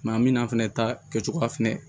Maa min n'a fɛnɛ ta kɛcogoya fɛnɛ